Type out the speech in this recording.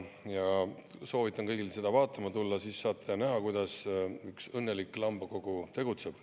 Soovitan kõigil seda vaatama tulla, siis saate näha, kuidas üks õnnelik Lambakogu tegutseb.